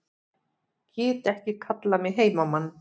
Get ekki kallað mig heimamann